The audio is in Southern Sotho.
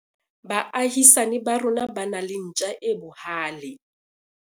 baahisani ba rona ba na le ntja e bohale